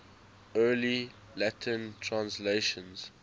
early latin translations